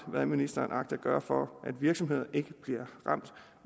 hvad ministeren agter at gøre for at virksomheder ikke bliver ramt